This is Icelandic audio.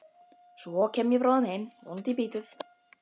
Svo kem ég bráðum heim, vonandi í bítið á morgun.